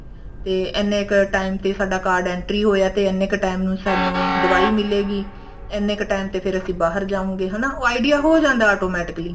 ਤੇ ਇੰਨੇ ਕ time ਤੇ ਸਾਡਾ card entry ਹੋਇਆ ਤੇ ਤੇ ਇੰਨੇ ਕ time ਤੇ ਸਾਨੂੰ ਦਵਾਈ ਮਿਲੂਗੀ ਇੰਨੇ ਕ time ਤੇ ਫੇਰ ਅਸੀਂ ਬਾਹਰ ਜਾਉਂਗੇ ਹਨਾ ਉਹ idea ਹੋ ਜਾਂਦਾ automatically